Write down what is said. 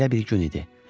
Belə bir gün idi.